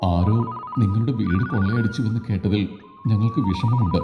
ആരോ നിങ്ങളുടെ വീട് കൊള്ളയടിച്ചുവെന്ന് കേട്ടതിൽ ഞങ്ങൾക്ക് വിഷമമുണ്ട്.